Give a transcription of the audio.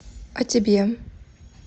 а тебе